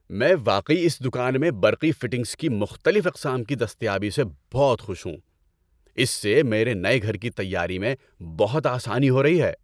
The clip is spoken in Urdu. ‏میں واقعی اس دکان میں برقی فٹنگز کی مختلف اقسام کی دستیابی سے بہت خوش ہوں۔ اس سے میرے نئے گھر کی تیاری میں بہت آسانی ہو رہی ہے‏۔